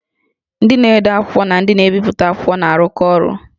Ndị na-ede akwụkwọ na ndị na-ebipụta akwụkwọ na-arụkọ ọrụ